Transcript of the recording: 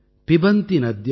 मेव नाम्भः